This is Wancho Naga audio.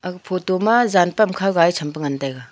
photo ma jan tam khak la e cham pe ngan taga.